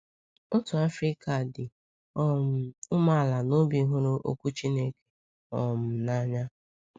Otu Afrịka dị um umeala n’obi hụrụ Okwu Chineke um n’anya